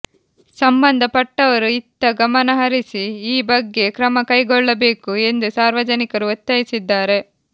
ಸಂಬಂಧಪಟ್ಟವರು ಇತ್ತ ಗಮನಹರಿಸಿ ಈ ಬಗ್ಗೆ ಕ್ರಮ ಕೈಗೊಳ್ಳಬೇಕು ಎಂದು ಸಾರ್ವಜನಿಕರು ಒತ್ತಾಯಿಸಿದ್ದಾರೆ